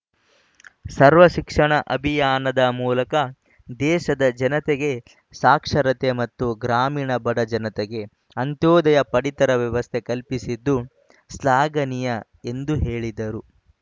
ಸರ್ವ ಶಿಕ್ಷಣ ಅಭಿಯಾನದ ಮೂಲಕ ದೇಶದ ಜನತೆಗೆ ಸಾಕ್ಷರತೆ ಮತ್ತು ಗ್ರಾಮೀಣ ಬಡ ಜನತೆಗೆ ಅಂತ್ಯೋದಯ ಪಡಿತರ ವ್ಯವಸ್ಥೆ ಕಲ್ಪಿಸಿದ್ದು ಶ್ಲಾಘನೀಯ ಎಂದು ಹೇಳಿದರು